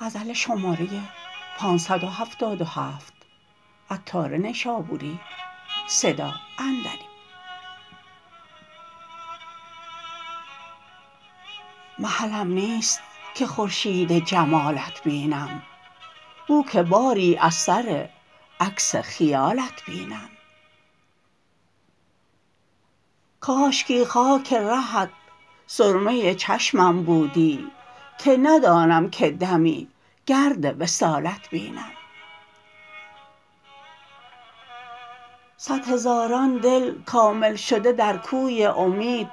محلم نیست که خورشید جمالت بینم بو که باری اثر عکس خیالت بینم کاشکی خاک رهت سرمه چشمم بودی که ندانم که دمی گرد وصالت بینم صد هزاران دل کامل شده در کوی امید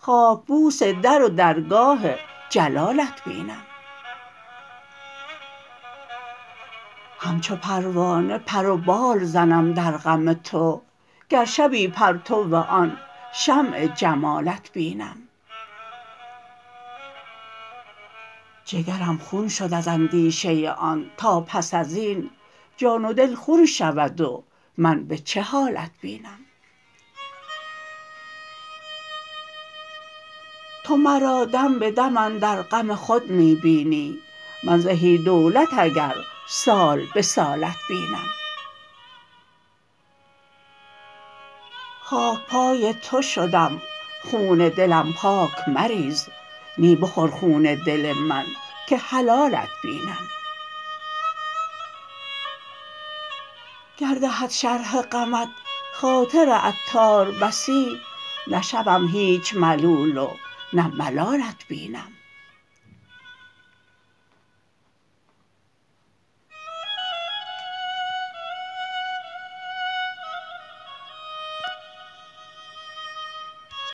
خاک بوس در و درگاه جلالت بینم همچو پروانه پر و بال زنم در غم تو گر شبی پرتو آن شمع جمالت بینم جگرم خون شد از اندیشه آن تا پس ازین جان و دل خون شود و من به چه حالت بینم تو مرا دم به دم اندر غم خود می بینی من زهی دولت اگر سال به سالت بینم خاک پای تو شدم خون دلم پاک مریز نی بخور خون دل من که حلالت بینم گر دهد شرح غمت خاطر عطار بسی نشوم هیچ ملول و نه ملالت بینم